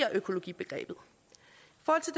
om økologibegrebet